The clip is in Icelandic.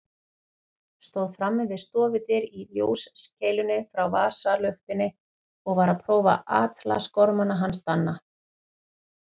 Stóð frammi við stofudyr í ljóskeilunni frá vasaluktinni og var að prófa atlasgormana hans Danna.